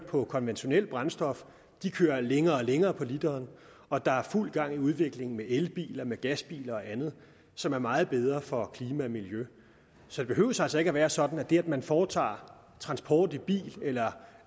på konventionelt brændstof kører længere og længere på literen og der er fuld gang i udviklingen af elbiler af gasbiler og andet som er meget bedre for klima og miljø så det behøver altså ikke at være sådan at det at man foretager transport i bil eller